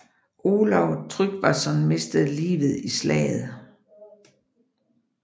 Olav Tryggvason mistede livet i slaget